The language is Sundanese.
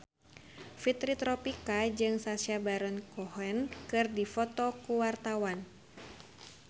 Fitri Tropika jeung Sacha Baron Cohen keur dipoto ku wartawan